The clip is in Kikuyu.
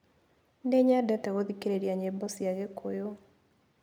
Nĩnyendete gũthikĩrĩria nyĩmbo cia gĩkũyũ.